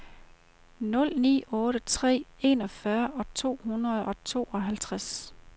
nul ni otte tre enogfyrre to hundrede og tooghalvtreds